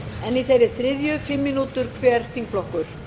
en í þeirri þriðju fimm mínútur hver þingflokkur